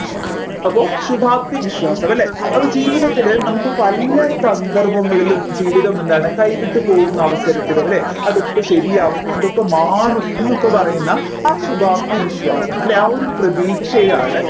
അപ്പോ ശുഭാപ്തി വിശ്വാസം അല്ലെ അപ്പോ ജീവിതത്തിലെ നമ്മുക്ക് പല സന്ദർഭങ്ങളിലും ജീവിതം എന്താണ് കൈവിട്ടു പോവുന്ന അവസരത്തിലോ അല്ലെ അതൊക്കെ ശരിയാവും അതൊക്കെ മാറും എന്നൊക്കെ പറയുന്ന ആ ശുഭാപ്തി വിശ്വാസം അല്ലെ ആ ഒരു പ്രതീക്ഷയാണ്